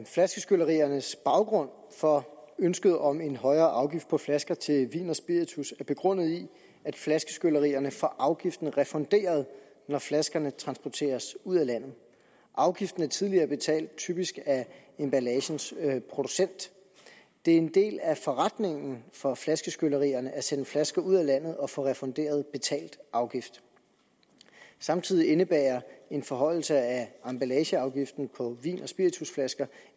flaskeskylleriernes baggrund for ønsket om en højere afgift på flasker til vin og spiritus er begrundet i at flaskeskyllerierne får afgiften refunderet når flaskerne transporteres ud af landet afgiften er tidligere betalt typisk af emballagens producent det er en del af forretningen for flaskeskyllerierne at sende flasker ud af landet og få refunderet betalt afgift samtidig indebærer en forhøjelse af emballageafgiften på vin og spiritusflasker